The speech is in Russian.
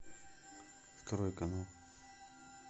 второй канал